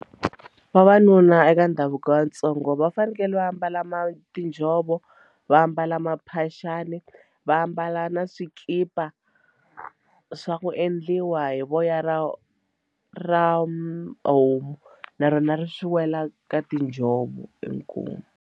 Vavanuna eka ndhavuko wa Vatsonga va fanekele va ambala ma tinjhovo va mbala maphaxani va ambala na swikipa swa ku endliwa hi voya ra ra homu na rona ri swi wela ka tinjhovo inkomu.